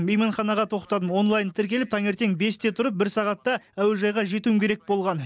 мейманханаға тоқтадым онлайн тіркеліп таңертең бесте тұрып бір сағатта әуежайға жетуім керек болған